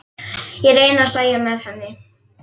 Ég reyni að hlæja með henni.